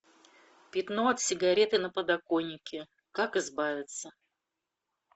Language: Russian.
пятно от сигареты на подоконнике как избавиться